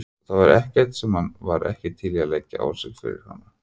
Það var ekkert sem hann var ekki til í að leggja á sig fyrir hana.